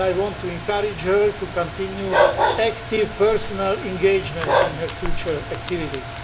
I want to encourage her to continue active personal engagement in her future activities.